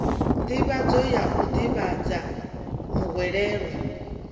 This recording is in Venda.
nḓivhadzo ya u ḓivhadza muhwelelwa